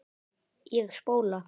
Ég spóla.